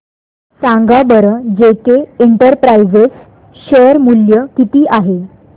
सांगा बरं जेके इंटरप्राइजेज शेअर मूल्य किती आहे